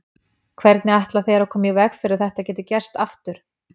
Hvernig ætla þeir að koma í veg fyrir að þetta geti gerst aftur?